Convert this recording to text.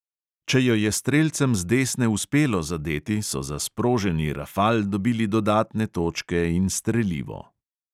Če jo je strelcem z desne uspelo zadeti, so za sproženi rafal dobili dodatne točke in strelivo.